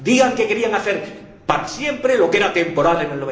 Digan que querían hacer para siempre lo que era temporal en